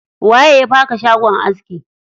Waye ya baka shagon aski?